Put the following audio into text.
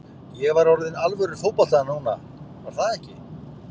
Ég var orðinn alvöru fótboltamaður núna, var það ekki?